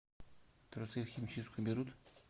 трусы в химчистку берут